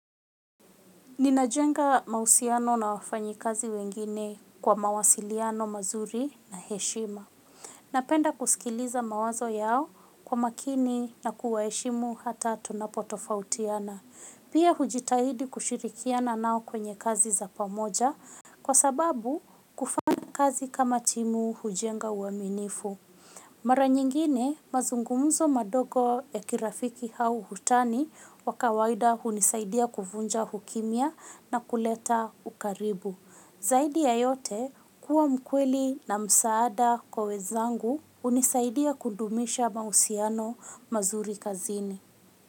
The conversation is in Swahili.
Ninajenga mahusiano na wafanyikazi wengine kwa mawasiliano mazuri na heshima napenda kusikiliza mawazo yao kwa makini na kuwaheshimu hata tunapotofautiana pia hujitahidi kushirikiana nao kwenye kazi za pamoja. Kwa sababu kufanya kazi kama timu hujenga uaminifu mara nyingine mazungumzo madogo ya kirafiki au utani wa kawaida hunisaidia kuvunja ukimya na kuleta ukaribu zaidi ya yote kuwa mkweli na msaada kwa wenzangu hunisaidia kudumisha mahusiano mazuri kazini.